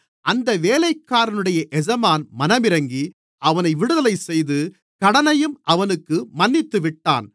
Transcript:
அந்த வேலைக்காரனுடைய எஜமான் மனமிரங்கி அவனை விடுதலைசெய்து கடனையும் அவனுக்கு மன்னித்துவிட்டான்